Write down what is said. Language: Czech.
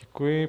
Děkuji.